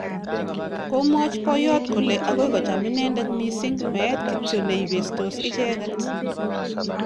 Komwach boyot kole agoi kocham inendet missing meet kityo neibestos icheget